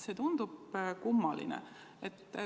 See tundub kummaline.